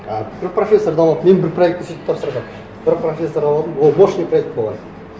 ы бір профессорды алып мен бір проектті сөйтіп тапсырғанмын бір профессор алып алдым ол мощный проект болған